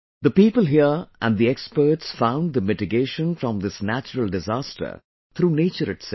The people here and the experts found the mitigation from this natural disaster through nature itself